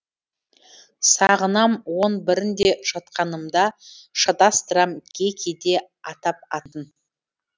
сағынам он бірін де жатқанымда шатастырам кей кейде атап атын